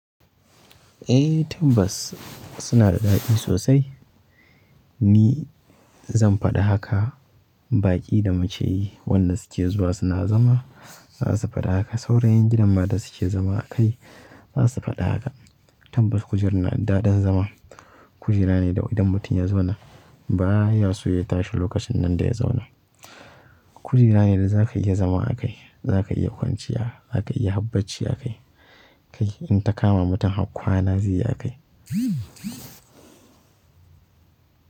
Ehh tabbas sunada daɗi sosai. Ni zan faɗi haka baƙi da mukeyi wanda suke zuwa suna zama za su faɗi haka. Sauran ƴan gidan ma da suke zama a kai za su faɗi haka. Tambas kujera na da daɗin zama. Kujera ne da idan mutum ya zauna baya so ya tashi lokacin nan da ya zauna. Kujera ne da za ka iya zama a kai, za ka iya kwanciya, za ka iya har bacci a kai. Kai in ta kama mutum har kwana zai yi a kai.